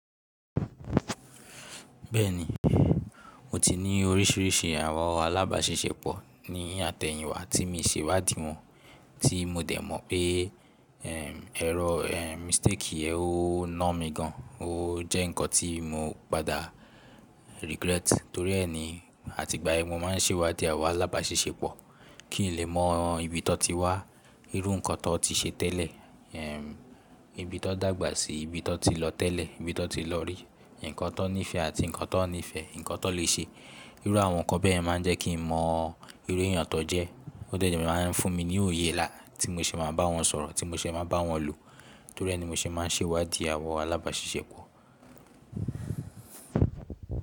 Bẹ́ẹ̀ ni, mo ti ní oríṣiríṣi àwọn alábasisẹpọ̀ ní àtẹ̀yìn wá tí mi ṣe wádìí wọn, tí mo dẹ̀ mọ̀ pé, ẹr, mistake yẹn ó na mí gan, ó jẹ́ nǹkan tí mo padà regret. Torí ẹni, àti ìgbà yẹn mo máa ń ṣe iwádìí àwọn alábasisẹpọ̀ kí n lè mọ ibi tó ti wá, irú nǹkan tó ti ṣe tẹ́lẹ̀, ẹm, ibi tó dàgbà síi, ibi tó ti lọ tẹ́lẹ̀, ibi tó ti lọ rí, ǹkan tó níìfẹ́ àti ǹkan tó nífẹ̀ẹ́, ǹkan tó lè ṣe. Irú àwọn ǹkan bẹ́ẹ̀ yen máa ń jẹ́ kí n mọ irú èèyàn tó jẹ́. Ó dẹ̀ jẹ́ máa ń fún mi ní òye nla tí mo ṣe máa bá wọn sọ̀rọ̀, tí mo ṣe máa bá wọn lò. Torí ẹni mo ṣe máa ń ṣe wádìí àwọn alábasẹpọ̀